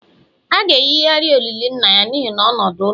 A ga-eyigharị olili nna ya n'ihi nọdụ n'ụlọ